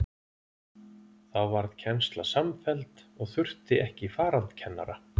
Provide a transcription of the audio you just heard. Þá varð kennsla samfelld og þurfti ekki farandkennara.